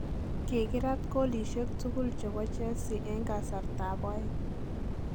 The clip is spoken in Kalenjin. Kikiraat goolisiek tugul chebo Chelsea en kasartab oeng.